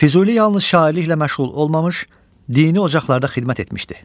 Füzuli yalnız şairliklə məşğul olmamış, dini ocaqlarda xidmət etmişdi.